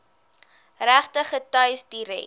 regter getuies direk